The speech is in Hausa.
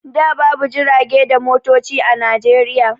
Da babu jirage da motoci a Najeriya.